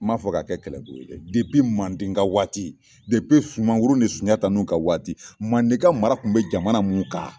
N m'a fɔ ko ka kɛ kɛlɛbolo ye dɛ manden ga waati, Sunmaguru ni Sunjata nun ka waati, manden ka mara kun be jamana mun ka